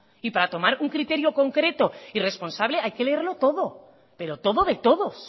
y para tomar un criterio concreto y responsable hay que leerlo todo pero todo de todos